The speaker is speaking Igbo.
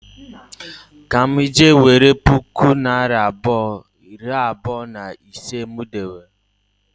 Ka m je nwere puku naịra abụọ, nari abụọ, na ise m dewere